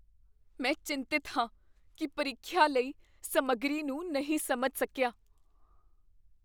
ਮੈਂ ਚਿੰਤਤ ਹਾਂ ਕੀ ਮੈਂ ਪ੍ਰੀਖਿਆ ਲਈ ਸਮੱਗਰੀ ਨੂੰ ਨਹੀਂ ਸਮਝ ਸਕਿਆ ।